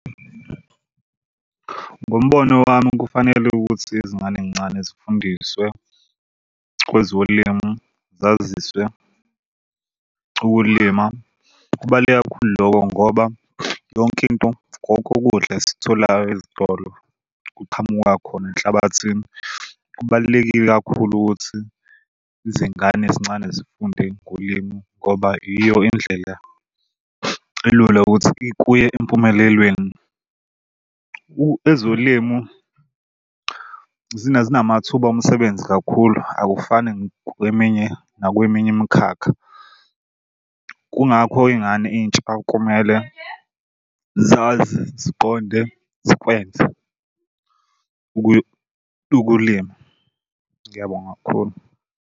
Ngombono wami kufanele ukuthi izngane ey'ncane zifundiswe kwezolimo zaziswe ukulima. Kubaluleke kakhulu lokho ngoba yonkinto kokudla esikutholayo ezitolo kuqhamuka khona enhlabathini. Kubalulekile kakhulu ukuthi izingane ezincane zifunde ngolimi ngoba iyo indlela elula ukuthi kuye empumelelweni. Ezolimu zinamathuba omsebenzi kakhulu akufani kweminye nakweminye imikhakha. Kungakho iy'ngane intsha kumele zazi ziqonde zikwenze ukuya ukulima. Ngiyabonga kakhulu.